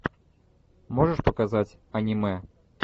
можешь показать аниме